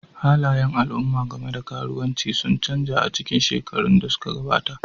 Halayen al'umma game da karuwanci sun canza a cikin shekarun da suka gabata,